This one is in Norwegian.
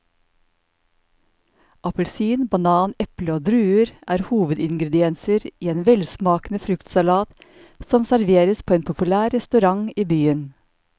Appelsin, banan, eple og druer er hovedingredienser i en velsmakende fruktsalat som serveres på en populær restaurant i byen.